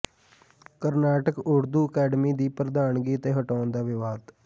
Karnataka Urdu academy ਦੀ ਪ੍ਰਧਾਨਗੀ ਅਤੇ ਹਟਾਉਣ ਦਾ ਵਿਵਾਦ